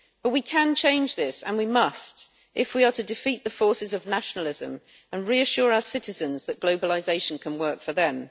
We can change this and we must, if we are to defeat the forces of nationalism and reassure our citizens that globalisation can work for them.